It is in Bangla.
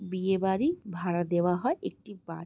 বিয়ে বাড়ি ভাড়া দাওয়া হয় একটিবার।